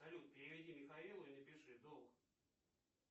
салют переведи михаилу и напиши долг